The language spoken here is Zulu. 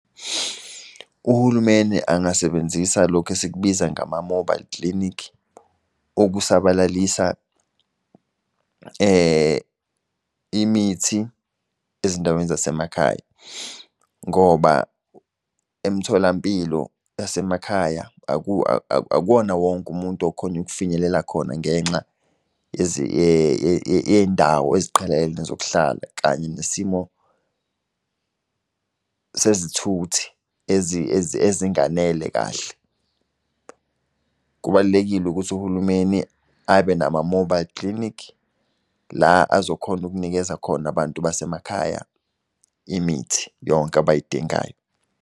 Uhulumeni angasebenzisa lokhu esikubiza ngama-mobile clinic ukusabalalisa imithi ezindaweni zasemakhaya. Ngoba emtholampilo yasemakhaya akuwona wonke umuntu okhonya ukufinyelela khona ngenxa yey'ndawo eziqhelelene zokuhlala kanye nesimo sezithuthi ezinganele kahle. Kubalulekile ukuthi uhulumeni abe nama-mobile clinic, la azokhona ukukunikeza khona abantu basemakhaya imithi yonke abayidingayo.